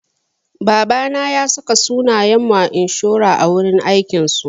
Babana ya saka sunayen mu a inshora a wurin aikin su.